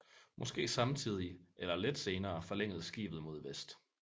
Måske samtidig eller lidt senere forlængedes skibet mod vest